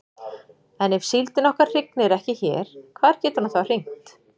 En ef síldin okkar hrygnir ekki hér hvar getur hún þá hrygnt?